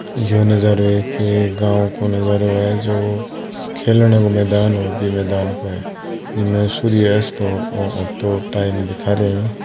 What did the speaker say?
या नज़ारे के गाँव को नज़रों हा जो खेलने को मैदान हो बई मैदान पे जिम्मे सूर्य असत हो और तो टाइम दिखा रिया है।